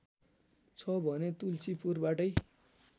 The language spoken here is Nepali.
छ भने तुल्सीपुरबाटै